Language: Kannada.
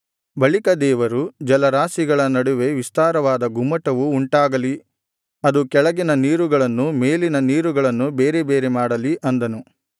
ಬಳಿಕ ದೇವರು ಜಲರಾಶಿಗಳ ನಡುವೆ ವಿಸ್ತಾರವಾದ ಗುಮ್ಮಟವು ಉಂಟಾಗಲಿ ಅದು ಕೆಳಗಿನ ನೀರುಗಳನ್ನೂ ಮೇಲಿನ ನೀರುಗಳನ್ನೂ ಬೇರೆ ಬೇರೆ ಮಾಡಲಿ ಅಂದನು